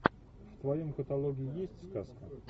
в твоем каталоге есть сказка